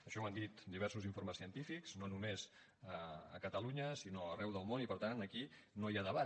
això ho han dit diversos informes científics no només a catalunya sinó arreu del món i per tant aquí no hi ha debat